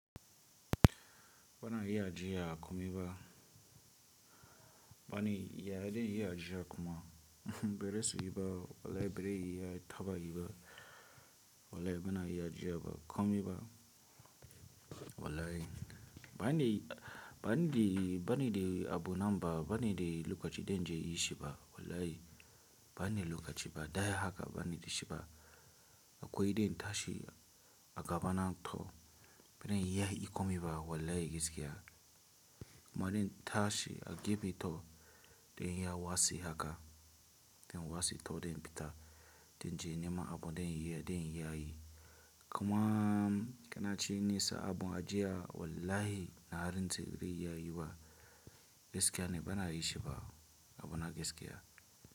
Bana iya ji ya komi ba. Bani ya dai iya ji ya koma. Bere su yi ba, wallahi bere iya taba yi ba. Wallahi bana iya ji ya ba komi ba. Wallahi bani, bani dai, bani dai abu nan ba, bani dai lokaci dai na yi shi ba. Wallahi bani da lokaci ba. Daya haka bani da shi ba. Akwai dai nta shi a gabana thau. Baren iya hi komi ba. Wallahi gaskiya. Ma dai nta shi a gefe thau dai inya wase haka. Dai wase thau dai pita dai jinima abu dai iya, dai iya yi. Kuma kanace nesa abu ajiya wallahi na rantse baze iya yi ba. Gaskiya ne bana yi shi ba. Abu na gaskiya.